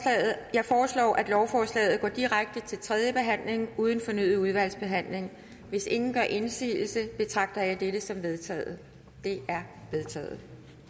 jeg foreslår at lovforslaget går direkte til tredje behandling uden fornyet udvalgsbehandling hvis ingen gør indsigelse betragter jeg dette som vedtaget det er vedtaget